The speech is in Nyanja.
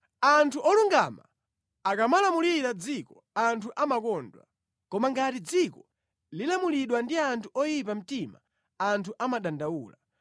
Anthu olungama akamalamulira mʼdziko anthu amakondwa, koma ngati dziko lilamulidwa ndi anthu oyipa mtima anthu amadandaula.